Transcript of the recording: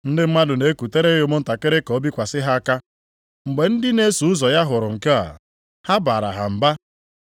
Ndị mmadụ na-ekutere ya ụmụntakịrị ka o bikwasị ha aka. Mgbe ndị na-eso ụzọ ya hụrụ nke a, ha baara ha mba.